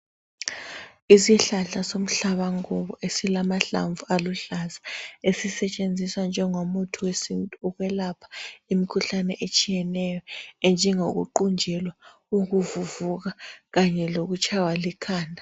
Isihlahla somhlabankukhu esilamahlamvu aluhlaza esisetshenziswa njengomuthi wesintu ukwelapha imkhuhlane etshiyeneyo enjengokuwunjelwa, ukuvuvuka kanye lokutshaywa likhanda.